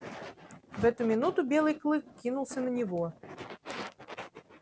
в эту минуту белый клык кинулся на него